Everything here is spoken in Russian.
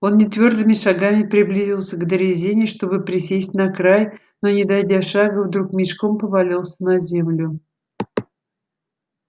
он нетвёрдыми шагами приблизился к дрезине чтобы присесть на край но не дойдя шага вдруг мешком повалился на землю